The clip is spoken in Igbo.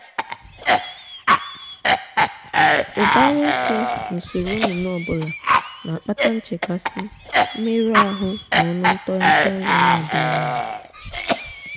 ụbara oke n’usoro nnụnụ ọ bụla na-akpata nchekasị mmerụ ahụ na ọnụ ntọghata nri na-adịghị mma.